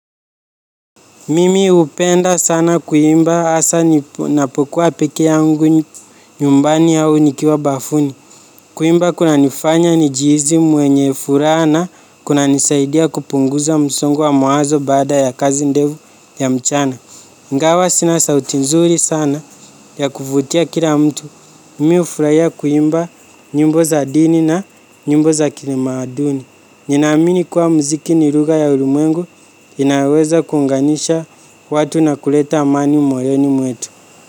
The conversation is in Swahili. Mimi hupenda sana kuimba hasa napokuwa peke yangu nyumbani au nikiwa bafuni. Kuimba kuna nifanya nijihisi mwenye furaha na kunanisaidia kupunguza msongo wa mawazo baada ya kazi ndefu ya mchana. iNgawa sina sauti nzuri sana ya kuvutia kila mtu. Mimi hufurahia kuimba nyimbo za dini na nyumba za kitamaduni. Ninaamini kuwa mziki ni lugha ya ulimwengu inayoweza kuunganisha watu na kuleta amani moyoni mwetu.